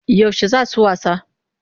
Yaushe za su wasa?